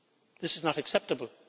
This is not acceptable.